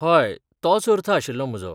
हय, तोच अर्थ आशिल्लो म्हजो.